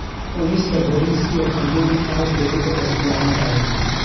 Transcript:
Cunista bariis iyo kalluun aad bay u dhadhan fiican tahay.